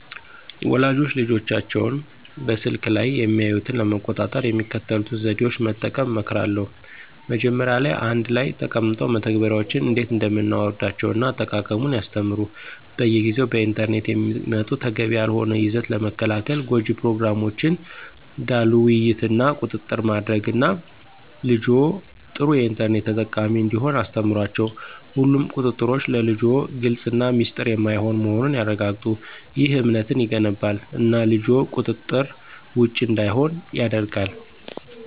ወላጆች ልጆቻቸው በስልክ ላይ የሚያዩትን ለመቆጣጠር የሚከተሉትን ዘዴዎች መጠቀም እመክራለሁ። መጀመሪያ ላይ አንድ ላይ ተቀምጠው መተግበሪያዎችን እንዴት እንደምናወርዳቸውን እና አጠቃቀሙን ያስተምሩ። በየጊዜው በኢንተርኔት የሚመጡ ተገቢ ያልሆነ ይዘት ለመከልከል ጎጅ ፕሮግራሞችን ዳሉ ውይይት እና ቁጥጥር ማድረግ እና ልጅዎ ጥሩ የኢንተርኔት ተጠቃሚ እንዲሆን አስተምሯቸው። ሁሉም ቁጥጥሮች ለልጅዎ ግልፅ እና ሚስጥር የማይሆን መሆኑን ያረጋግጡ። ይህ እምነትን ይገነባል እና ልጅዎ ቁጥጥር ውጭ እንዳይሆን ያደርጋል።